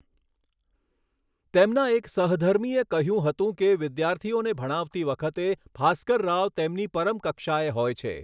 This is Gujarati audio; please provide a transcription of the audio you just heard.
તેમના એક સહધર્મીએ કહ્યું હતું કે વિદ્યાર્થીઓને ભણાવતી વખતે ભાસ્કરરાવ તેમની પરમ કક્ષાએ હોય છે.